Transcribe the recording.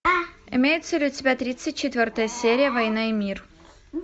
имеется ли у тебя тридцать четвертая серия война и мир